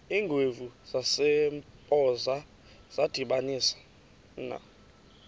iingwevu zasempoza zadibanisana